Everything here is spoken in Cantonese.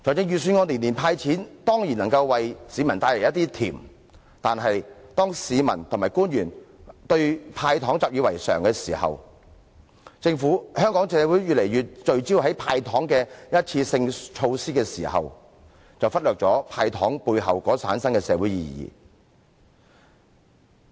預算案每年"派錢"，當然能為市民帶來一點甜，但是，當市民和官員對"派糖"習以為常，香港社會越來越聚焦於"派糖"的一次性措施時，便會忽略"派糖"背後所產生的社會意義。